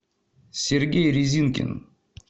сергей резинкин